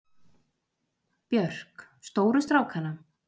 Björk: Stóru strákana.